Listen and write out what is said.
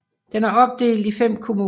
Den er opdelt i 5 kommuner